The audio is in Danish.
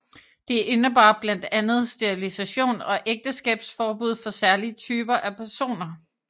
Det indebar blandt andet sterilisation og ægteskabsforbud for særlige typer af personer